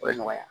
O ye nɔgɔya